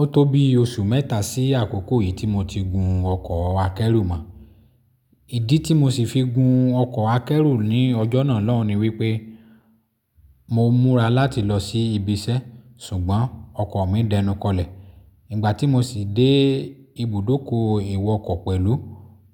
Ó tó bí oṣù mẹ́ta sí àkókò yìí tí mo ti gun ọkọ̀ akẹ́rù mọ. Ìdí tí mo ṣì fi gun ọkọ̀ akẹ́rù ní ọjọ́ náà lóhùn ni wípé mo múra láti lọ sí ibiṣẹ́ ṣùgbọ́n ọkọ̀ mi dẹnukọlẹ̀. Ìgbà tí mo sì dé ibùdókọ̀ ìwọ ọkọ̀ pẹ̀lú,